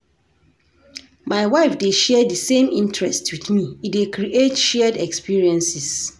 My wife dey share di same interests wit me, e dey create shared experiences.